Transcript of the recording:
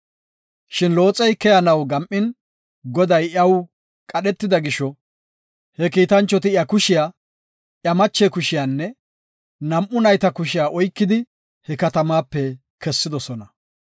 Shin Looxey keyanaw gam7in, Goday iyaw qadhetida gisho, he kiitanchoti iya kushiya, iya mache kushiyanne nam7u nayta kushiya oykidi he katamaape kessidosona.